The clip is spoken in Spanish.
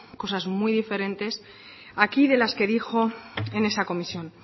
cosas muy diferentes aquí de las que dijo en esa comisión